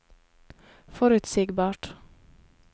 forutsigbart